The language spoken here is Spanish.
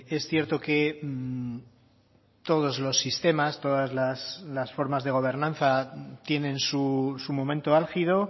es cierto que todos los sistemas todas las formas de gobernanza tienen su momento álgido